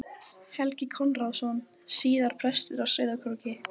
Þarna hafa búið bændur um aldaraðir.